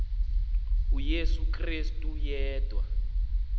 uyesu krestu yedwa